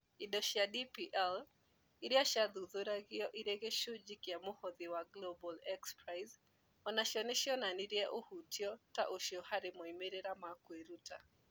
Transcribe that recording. Indo cia DPL, iria ciathuthuragio irĩ gĩcunjĩ kĩa mũhothi wa Global XPrize, o nacio nĩ cionanirie ũhutio ta ũcio harĩ moimĩrĩro ma kwĩruta.